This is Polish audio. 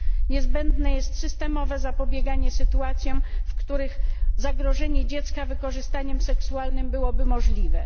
Niezbędne jest systemowe zapobieganie sytuacjom, w których zagrożenie dziecka wykorzystaniem seksualnym byłoby możliwe.